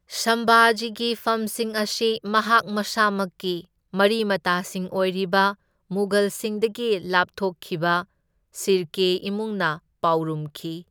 ꯁꯝꯚꯥꯖꯤꯒꯤ ꯐꯝꯁꯤꯡ ꯑꯁꯤ ꯃꯍꯥꯛ ꯃꯁꯥꯃꯛꯀꯤ ꯃꯔꯤ ꯃꯇꯥꯁꯤꯡ ꯑꯣꯏꯔꯤꯕ ꯃꯨꯘꯜꯁꯤꯡꯗꯒꯤ ꯂꯥꯞꯊꯣꯛꯈꯤꯕ ꯁꯤꯔꯀꯦ ꯏꯃꯨꯡꯅ ꯄꯥꯎꯔꯨꯝꯈꯤ꯫